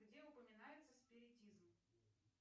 где упоминается спиритизм